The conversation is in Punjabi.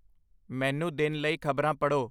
ਮੈਨੂੰ ਦਿਨ ਲਈ ਖ਼ਬਰਾਂ ਪੜ੍ਹੋ